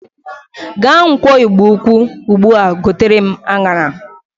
Gaa nkwọ Igbo-ukwu ugbu a gotere m aṅara!